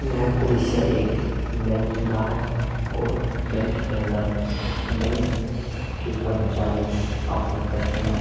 यह दृश्य एक बैंक का है और बैंक के अंदर बैंक के कर्मचारी अपने कस्टमर --